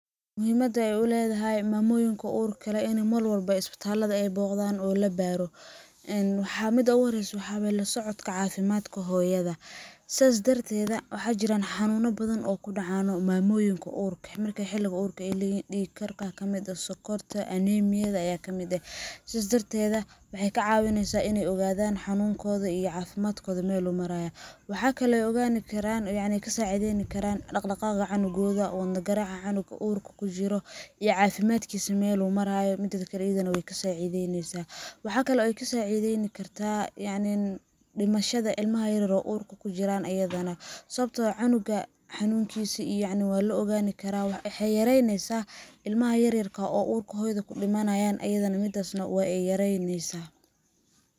Muhimadda ay u ledahay mamoyinka urka leh ini marwalba isbitallada ay boqdaan oo la baaro, Een, midda ugu horreyso waxa waye la socodka cafimadka hoyada .Saas darteeda waxa jiraan xanuuna badan oo ku dhacaano mamoyinka urka ah, marka xilliga urka ay leyhiin, dhiig karka aa kamid ah ,sokorta ,anemiyada ayaa kamid eh. Sidaas darteeda waxey ka cawineysaa iney ogodaan xanunkooda iyo cafimadkooda meel ay marayaan .Waxa kale ay ogaani karaan oo yacni ka sacideyni karaan ,dhaqdhaqaaqa cunugooda ,wadna garaaca cunuga urka ku jiro iyo cafimadkiisa mel uu maraayo midakale iyada na wey ka sacideyneysaa . Waxa kale ay ka sacideyni kartaa yacni dhimishada ilmaha yaryar oo urka ku jiraan ayadana sawabtoo ah ,canuga yacni xanuunkisa waa la ogaani karaa ,waxey yareyneysa ilmaha yaryarka oo urka hoyada kudhimanayaan ayadana midaas na waa ay yareyneysaa .